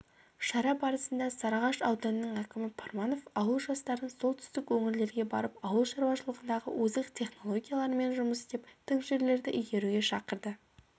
шара барысында сарыағаш ауданының әкімі пармановауыл жастарын солтүстік өңірлерге барып ауыл шаруашылығындағы озық технологиялармен жұмыс істеп тың жерлерді игеруге шақырды